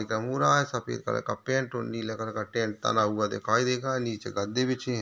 एक मुरा सफ़ेद कलर का पेंट और नीले कलर का हुआ दिखाई देगा नीचे गद्दी बिछी है।